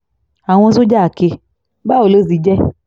àwọn sójà ké báwo ló ti jẹ́